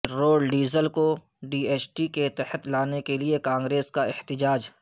petrol diesel کو G S T کے تحت لانےکےلئے کانگریس کا احتجاج